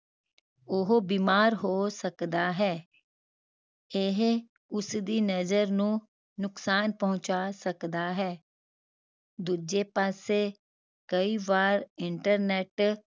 ਉਹ ਬੀਮਾਰ ਹੋ ਸਕਦਾ ਹੈ ਇਹ ਉਸਦੀ ਨਜ਼ਰ ਨੂੰ ਨੁਕਸਾਨ ਪਹੁੰਚਾ ਸਕਦਾ ਹੈ ਦੂਜੇ ਪਾਸੇ ਕਈ ਵਾਰ internet